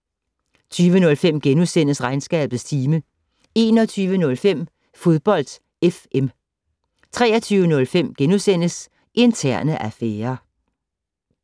20:05: Regnskabets time * 21:05: Fodbold FM 23:05: Interne affærer *